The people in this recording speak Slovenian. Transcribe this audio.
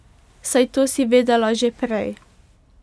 Saj to si vedela že prej.